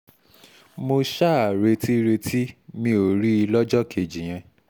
mo ṣáà retí-retí mi ò rí i lọ́jọ́ kejì yẹn